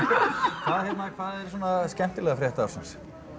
hvað hérna hvað er svona skemmtilega frétt ársins